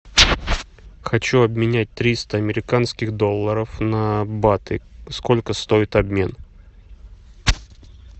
хочу обменять триста американских долларов на баты сколько стоит обмен